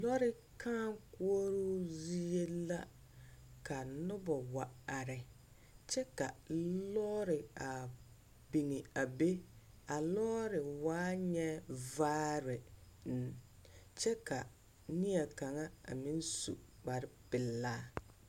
lɔɛ kãã koɔroo zie la ka noba wa are kyɛ ka lɔɔ re a be. A lɔɔre waa nyɛ vaare. kyɛ ka ne kaŋa a meŋ su kpare pelaa.